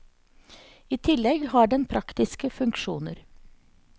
I tillegg har den praktiske funksjoner.